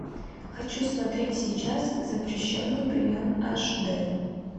хочу смотреть сейчас запрещенный прием аш дэ